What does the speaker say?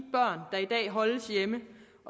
dag holdes hjemme